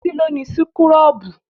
Títí ló ni súkúrọ́bù